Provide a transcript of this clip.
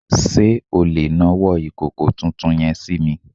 Sé o lè nawọ́ ìkòkò tuntun yen sími